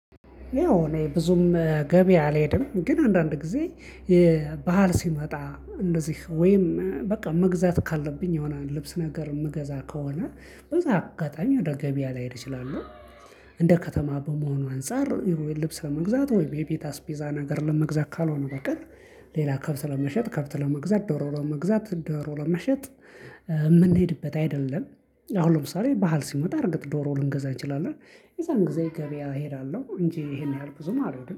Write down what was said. ያው እኔ ብዙም ገበያ አልሄድም ግን አንዳንድ ጊዜ በዓል ሲመጣ እንደዚህ ወይም በቃ መግዛት ካለብኝ የሆነ ልብስ ነገር የምገዛ ከሆነ በዛ አጋጣሚ ወደ ገበያ ልሄድ ይችላሉ። እንደ ከተማ በመሆኑ አንፃር ልብስ ለመግዛት ወይም የቤት አስቤዛ ነገር ለመግዛት ካልሆነ በቀር ሌላ ከብት ለመሸጥ ከብት ለመግዛት ዶሮ ለመግዛት ዶሮ ለመሸጥ የምንሄድበት አይደለም። አሁን ለምሳሌ በዓል ሲመጣ እርግጥ ዶሮ ልንገዛ እንችላለን የዛን ጊዜ ገበያ እሄዳለሁ እንጂ ይሄን ያህል ብዙም አልሄድም